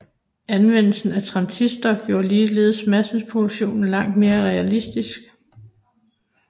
Anvendelsen af transistorer gjorde ligeledes masseproduktion langt mere realistisk